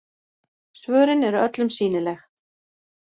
Svörin eru öllum sýnileg